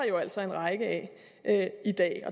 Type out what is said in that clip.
jo altså en række af i dag